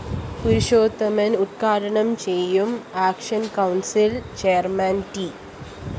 പുരുഷോത്തമന്‍ ഉദ്ഘാനം ചെയ്യും action council‍ chairman T